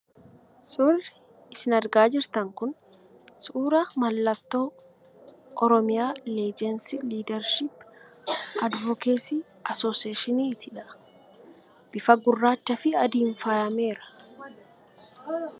Suurri isin argaa jirtan kun suura mallattoo Oromiyaa " LEGACY LEADERSHIP AND ADVOCACY ASSOCIATION" ti. Bifa gurraachaa fi adiin faayameera.